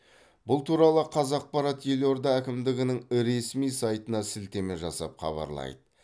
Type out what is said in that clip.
бұл туралы қазақпарат елорда әкімдігінің ресми сайтына сілтеме жасап хабарлайды